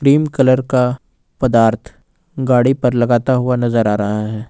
Cream colour का पदार्थ गाड़ी पर लगाता हुआ नजर आ रहा है।